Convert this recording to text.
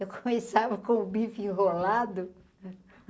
Eu começava com o bife enrolado.